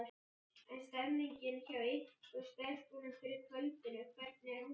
En stemningin hjá ykkur stelpunum fyrir kvöldinu, hvernig er hún?